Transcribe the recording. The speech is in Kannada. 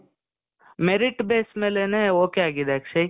merit base ಮೇಲೇನೆ ok ಆಗಿದೆ ಅಕ್ಷಯ್.